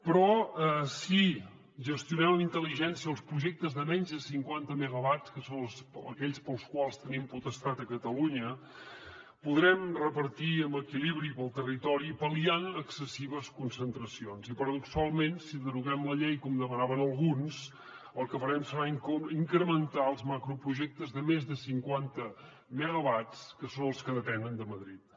però si gestionem amb intel·ligència els projectes de menys de cinquanta megawatts que són aquells pels quals tenim potestat a catalunya podrem repartir amb equilibri pel territori pal·liant excessives concentracions i paradoxalment si deroguem la llei com demanaven alguns el que farem serà incrementar els macroprojectes de més de cinquanta megawatts que són els que depenen de madrid